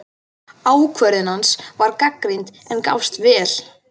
Ákvörðun hans var gagnrýnd, en gafst vel.